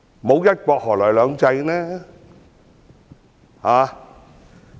沒有"一國"，何來"兩制"？